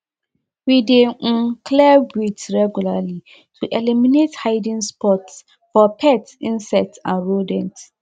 we dey um clear weeds regularly to eliminate hiding spots for pest insects and rodents